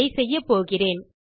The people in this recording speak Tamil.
இதை செய்யப்போகிறேன்